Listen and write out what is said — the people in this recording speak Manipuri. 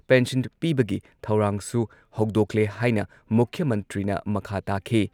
ꯄꯦꯟꯁꯟ ꯄꯤꯕꯒꯤ ꯊꯧꯔꯥꯡꯁꯨ ꯍꯧꯗꯣꯛꯂꯦ ꯍꯥꯏꯅ ꯃꯨꯈ꯭ꯌ ꯃꯟꯇ꯭ꯔꯤꯅ ꯃꯈꯥ ꯇꯥꯈꯤ ꯫